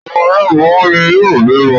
Ọ̀pọ̀ àwọn aláboyún ni yóò bímọ.